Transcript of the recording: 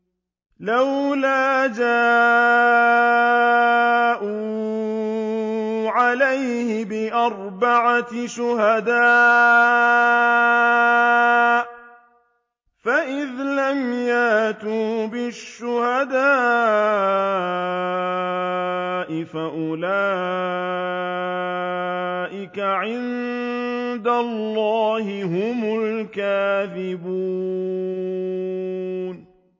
لَّوْلَا جَاءُوا عَلَيْهِ بِأَرْبَعَةِ شُهَدَاءَ ۚ فَإِذْ لَمْ يَأْتُوا بِالشُّهَدَاءِ فَأُولَٰئِكَ عِندَ اللَّهِ هُمُ الْكَاذِبُونَ